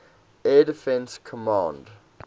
air defense command